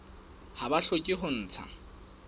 ha ba hloke ho ntsha